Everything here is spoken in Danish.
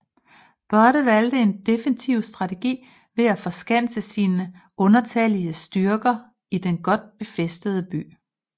Budde valgte en defensiv strategi ved at forskanse sine undertallige styrker i den godt befæstede by